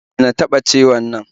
Dena taɓa ciwon nan